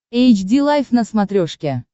эйч ди лайф на смотрешке